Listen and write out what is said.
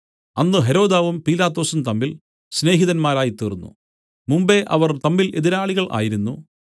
അന്ന് ഹെരോദാവും പീലാത്തോസും തമ്മിൽ സ്നേഹിതന്മാരായിത്തീർന്നു മുമ്പെ അവർ തമ്മിൽ എതിരാളികൾ ആയിരുന്നു